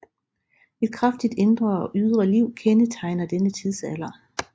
Et kraftigt indre og ydre liv kendetegner denne tidsalder